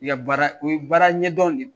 I ka baara u ye baara ɲɛdɔn de